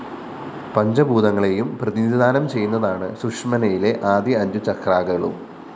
പഞ്ചഭൂതങ്ങളെയും പ്രതിനിധാനം ചെയ്യുന്നതാണ് സുഷുമ്‌നയിലെ ആദ്യ അഞ്ചു ചക്രാകളും